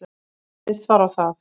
Fallist var á það